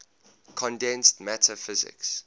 condensed matter physics